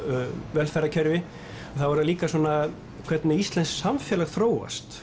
velferðarkerfi þá er það líka svona hvernig íslenskt samfélag þróast